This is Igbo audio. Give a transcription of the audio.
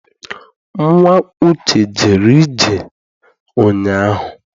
Nnwa Uche jere ije ụnyaahụ.